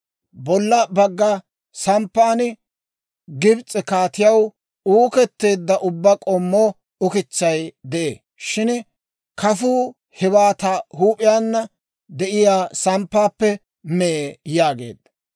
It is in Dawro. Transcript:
bolla bagga samppan Gibs'e kaatiyaw uuketteedda ubbaa k'ommo ukitsay de'ee. Shin kafuu hewaa ta huup'iyaan de'iyaa samppaappe mee» yaageedda.